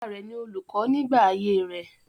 Bàbá rẹ ni olùkọ nígbà ayé rẹ̀.